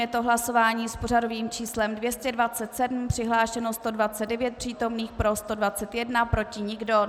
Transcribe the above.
Je to hlasování s pořadovým číslem 227, přihlášeno 129 přítomných, pro 121, proti nikdo.